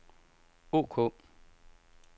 ok